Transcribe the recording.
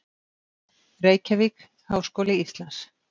Reykjavík: Háskóli Íslands.